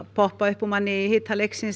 poppa upp úr manni í hita leiksins